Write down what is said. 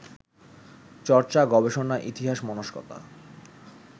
চর্চা, গবেষণা, ইতিহাস-মনস্কতা